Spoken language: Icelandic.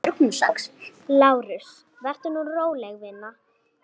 LÁRUS: Vertu nú róleg, vina.